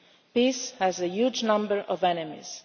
Peace has a huge number of enemies.